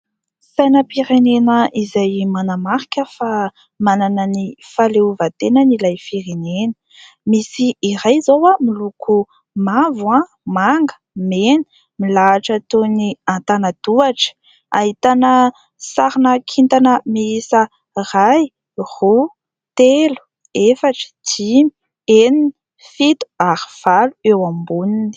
Sainam-pirenena izay manamarika fa manana ny fahaleovantenany ilay firenena. Misy iray izao miloko mavo, manga, mena, milahatra toy ny antanan-tohatra. Ahitana sarina kintana miisa iray, roa, telo, efatra, dimy, enina, fito ary valo eo amboniny.